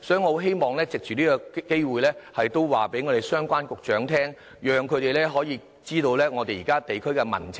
我希望藉此機會告訴相關局長，讓他們知道現時地區的民情。